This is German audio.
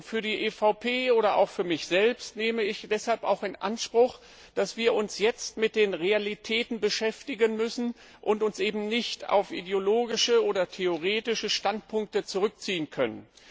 Für die EVP oder auch für mich selbst nehme ich deshalb auch in Anspruch, dass wir uns jetzt mit den Realitäten beschäftigen müssen und uns eben nicht auf ideologische oder theoretische Standpunkte zurückziehen können.